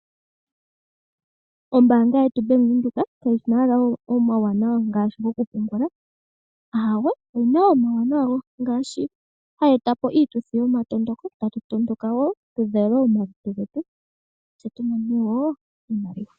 Ombaanga yetu yaVenduka kayina owala omawuwanawa ngaashi okupungula aawe ,oyina omawuwanawa ngaashi hayi etapo iituthi yoku matuka moka aantu haya matuka yo yamone woo iimaliwa.